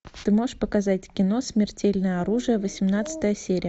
ты можешь показать кино смертельное оружие восемнадцатая серия